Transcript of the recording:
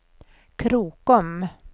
Krokom